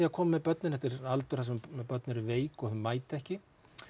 að koma með börnin þetta er aldur þar sem börn eru veik og þau mæta ekki